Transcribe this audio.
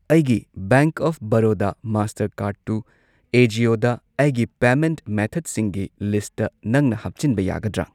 ꯑꯩꯒꯤ bank of Baroda ꯃꯥꯁꯇꯔꯀꯥꯔꯗꯇꯨ ꯑꯦꯖꯤꯑꯣꯗ ꯑꯩꯒꯤ ꯄꯦꯃꯦꯟꯠ ꯃꯦꯊꯗꯁꯤꯡꯒꯤ ꯂꯤꯁꯠꯇ ꯅꯪꯅ ꯍꯥꯞꯆꯤꯟꯕ ꯌꯥꯒꯗ꯭ꯔꯥ?